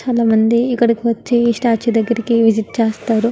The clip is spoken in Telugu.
చాలా మంది ఇక్కడికి వచ్చి ఈ స్టాట్యూ దెగ్గరికి విసిట్ చేస్తారు.